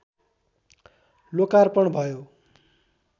लोकार्पण भयो